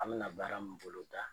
An bɛna baara min boloda